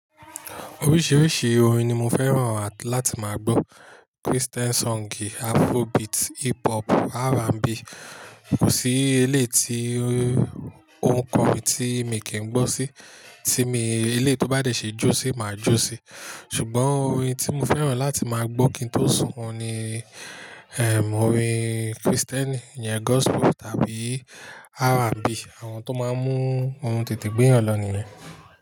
Oríṣiríṣi orin ni mo fẹ́ràn láti máa gbọ́. Christian song, Afrobeat, Hip hop, R&B. Kò sí eléyi tí on korin tí mi kì í gbọ́ sí, tí eléyi tó bá de ṣe jó sí, máa jó sí. Ṣùgbọ́n orin tí mo fẹ́ràn láti máa gbọ́ kí n tó sùn òun ni, ẹrm orin Kristẹni iyẹn Gospel tàbí R&B. Àwọn tó máa ń mú orun tètè gbéyàn lọ nìyẹn.